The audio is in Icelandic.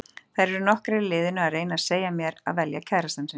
Þær eru nokkrar í liðinu að reyna að segja mér að velja kærastann sinn.